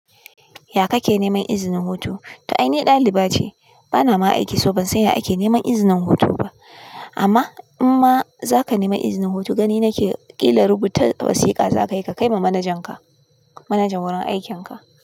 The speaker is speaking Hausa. Ya ka ke neman izinin hutu? To ai ni daliba ce, bana ma aiki so ban san ya ake neman izinin hutu ba. Amma in ma za ka nemi izinin hutu, gani na ke ƙila rubuta wasiƙa za ka yi ka kai ma manajan ka, manajan wurin aikin ka.